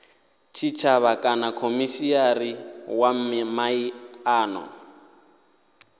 tshitshavha kana khomishinari wa miano